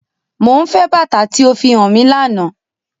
Mo nfẹ bata ti o fihan mi làná!